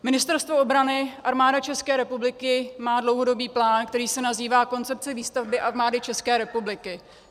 Ministerstvo obrany, Armáda České republiky má dlouhodobý plán, který se nazývá Koncepce výstavby Armády České republiky.